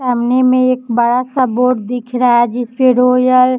सामने में एक बड़ा सा बोर्ड दिख रहा है जिसपे रोयल --